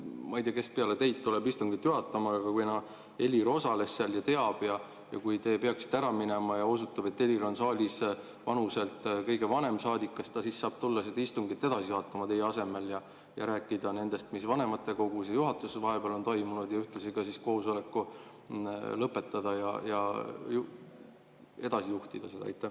Ma ei tea, kes peale teid tuleb istungit juhatama, aga kuna Helir osales seal ja teab ja kui teie peaksite ära minema ja osutub, et Helir on saalis vanuselt kõige vanem saadik, siis kas ta saab tulla istungit edasi juhatama teie asemel ja rääkida sellest, mis vanematekogus ja juhatuses vahepeal on toimunud, ja ühtlasi koosoleku lõpetada või edasi juhtida seda?